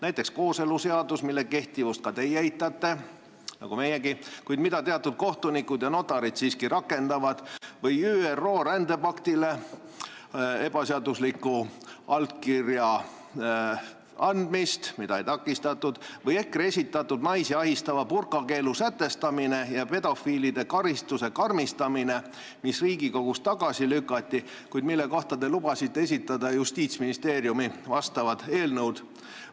Näiteks kooseluseadus, mille kehtivust ka teie eitate nagu meiegi, kuid mida teatud kohtunikud ja notarid siiski rakendavad, või ÜRO rändepaktile ebaseadusliku allkirja andmine, mida ei takistatud, või EKRE esitatud naisi ahistava burka keelu sätestamine ja pedofiilide karistuse karmistamine, mis Riigikogus tagasi lükati ja mille kohta te lubasite Justiitsministeeriumis eelnõu koostada.